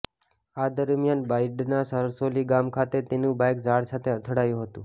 આ દરમિયાન બાયડના સરસોલી ગામ ખાતે તેનું બાઇક ઝાડ સાથે અથડાયું હતું